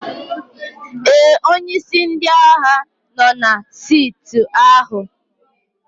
Ee, onye isi ndị agha nọ na saịtị ahụ.